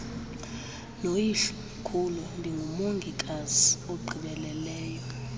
noyihlomkhulu ndingumongikazi ogqibeleleyo